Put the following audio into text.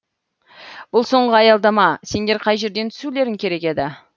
бұл соңғы аялдама сендер қай жерден түсулерің керек еді